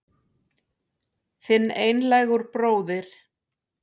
Þinn einlægur bróðir